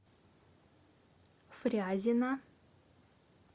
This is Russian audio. фрязино